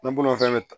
N bolo fɛn bɛ